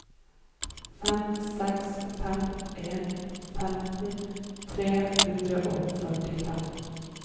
fem seks fem en femten tre hundre og førtifem